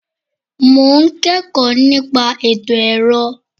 Mo ń kẹ́kọ̀ọ́ nípa ètò ẹ̀rọ.